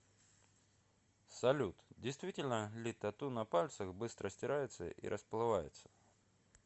салют действительно ли тату на пальцах быстро стирается и расплывается